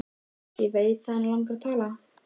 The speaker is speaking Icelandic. Sigurður vill því næst engum frekari spurningum svara.